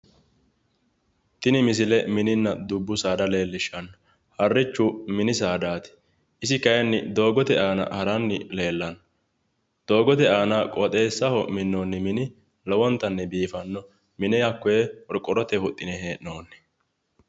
Tini misile mininna dubbu saada leellishshanno, harrichu mini saadaati isi kayiinni doogote aana haranni leellanno doogote aana qooxeessaho minnoonni mini lowontanni biifanno, mine hakkoye qorqorrotenni huxxine hee'noonni.